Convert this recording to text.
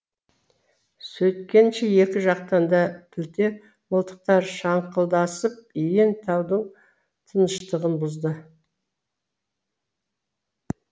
сөйткенше екі жақтан да пілте мылтықтар шаңқылдасып иен таудың тыныштығын бұзды